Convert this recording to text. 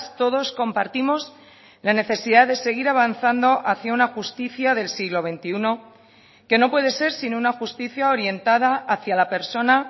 todos compartimos la necesidad de seguir avanzando hacia una justicia del siglo veintiuno que no puede ser sino una justicia orientada hacia la persona